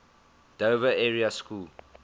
dover area school